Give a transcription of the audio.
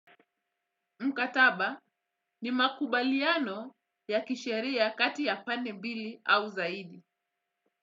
Mkataba ni makubaliano ya kisheria kati ya pande mbili au zaidi.